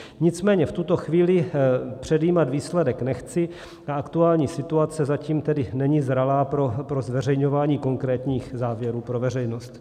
Nicméně v tuto chvíli předjímat výsledek nechci, ta aktuální situace zatím tedy není zralá pro zveřejňování konkrétních závěrů pro veřejnost.